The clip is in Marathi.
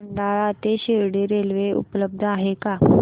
खंडाळा ते शिर्डी रेल्वे उपलब्ध आहे का